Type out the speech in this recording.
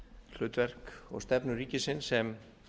hlutverk og stefnu ríkisins sem